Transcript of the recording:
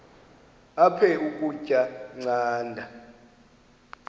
aphek ukutya canda